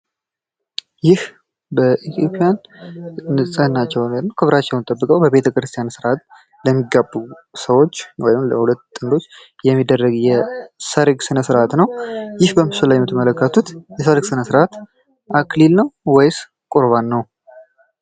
ይህ ኢትዮጵያን ንፅህናቸውን ወይም ክብራቸውን ጠብቀው በቤተክርስቲያን ስርአት ለሚጋቡ ሰዎች ወይም ለሁለት ጥንዶች የሚደረግ የሰርግ ስነስርአት ነው። ይህ በምስሉ ላይ የምትመለከቱት የሰርግ ስነስርአት አክሊል ነው ወይስ ቁርባን ነው?